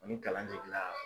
Ni kalan jiginna